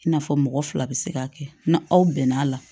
I n'a fɔ mɔgɔ fila bɛ se k'a kɛ na aw bɛn n'a la